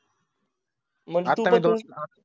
मग तुम्ही दोन.